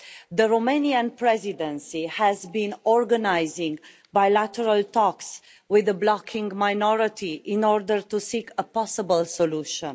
The Romanian Presidency has been organising bilateral talks with the blocking minority in order to seek a possible solution.